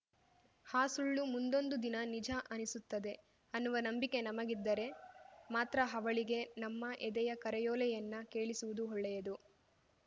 ಆ ಸುಳ್ಳು ಮುಂದೊಂದು ದಿನ ನಿಜ ಅನ್ನಿಸುತ್ತದೆ ಅನ್ನುವ ನಂಬಿಕೆ ನಮಗಿದ್ದರೆ ಮಾತ್ರ ಅವಳಿಗೆ ನಮ್ಮ ಎದೆಯ ಕರೆಯೋಲೆಯನ್ನ ಕೇಳಿಸುವುದು ಒಳ್ಳೆಯದು